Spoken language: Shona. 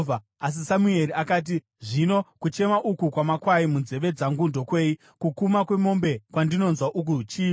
Asi Samueri akati, “Ko, zvino kuchema uku kwamakwai munzeve dzangu ndokwei? Kukuma kwemombe kwandinonzwa uku chiiko?”